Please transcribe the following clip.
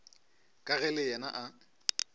ka ge le yena a